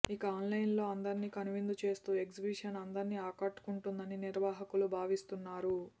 ఇక ఆన్లైన్ లో అందరినీ కనువిందు చేస్తూ ఎగ్జిబిషన్ అందరినీ ఆకట్టుకుంటుందని నిర్వాహకులు భావిస్తున్నారు